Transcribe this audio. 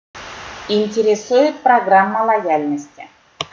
интересует программа лояльности